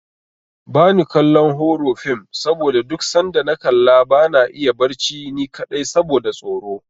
Bani kallon horo fim saboda duk sanda na kalla bana iya barci ni kaɗai saboda tsoro.